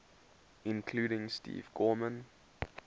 including steve gorman